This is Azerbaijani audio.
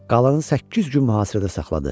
Qalanı səkkiz gün mühasirədə saxladı.